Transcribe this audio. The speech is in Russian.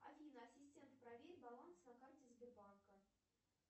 афина ассистент проверь баланс на карте сбербанка